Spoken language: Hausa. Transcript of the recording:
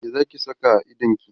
me Zaki Saka a idonki?